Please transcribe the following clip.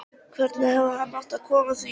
Hvernig hefði hann átt að koma því í kring?